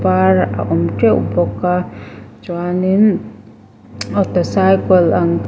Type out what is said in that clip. var a awm teuh bawk a chuan in auto cycle ang--